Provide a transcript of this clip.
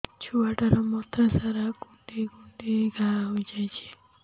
ଛୁଆଟାର ମଥା ସାରା କୁଂଡେଇ କୁଂଡେଇ ଘାଆ ହୋଇ ଯାଇଛି